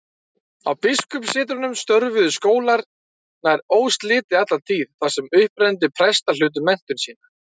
Á biskupssetrunum störfuðu skólar nær óslitið alla tíð, þar sem upprennandi prestar hlutu menntun sína.